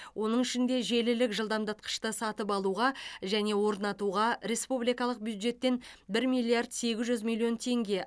оның ішінде желілік жылдамдатқышты сатып алуға және орнатуға республикалық бюджеттен бір миллиард сегіз жүз миллион теңге